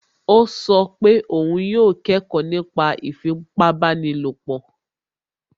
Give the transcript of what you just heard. Ó sọ pé òun yóò kẹ́kọ̀ọ́ nípa ìfipábanílòpọ̀